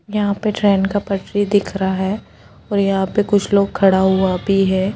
यहा पर ट्रेन का पटरी दिख रहा है और यहा पे कुछ लोग खड़ा हुआ भी है।